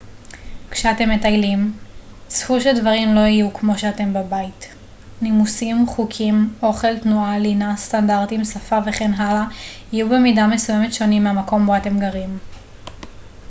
כשאתם מטיילים צפו שדברים לא יהיו כמו שהם בבית נימוסים חוקים אוכל תנועה לינה סטנדרטים שפה וכן הלאה יהיו במידה מסוימת שונים מהמקום בו אתם גרים